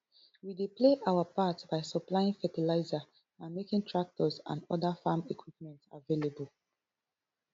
we dey play our part by supplying fertilizer and making tractors and oda farm equipment available